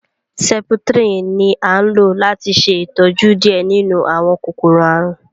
septrin ní a lò láti ṣe ìtọjú diẹ nínú àwọn kòkòrò àrùn